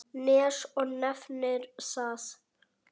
Nes og nefnir það.